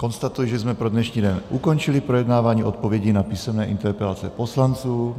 Konstatuji, že jsme pro dnešní den ukončili projednávání odpovědí na písemné interpelace poslanců.